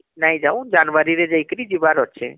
ନାଇଁ ଯାଉ , ଜାନୁଆରୀ ରେ ଜାଇକାରୀ ଯିବାର ଅଛି